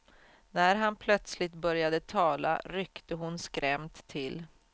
När han plötsligt började tala ryckte hon skrämt till.